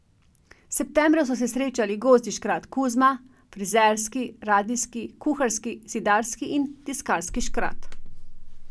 Septembra so se srečali gozdni škrat Kuzma, frizerski, radijski, kuharski, zidarski in tiskarski škrat.